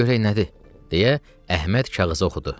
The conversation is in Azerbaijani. Qoy görək nədir, deyə Əhməd kağızı oxudu.